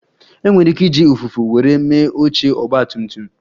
E nwere ike iji ụfụfụ were mee oche Ọgba tum tum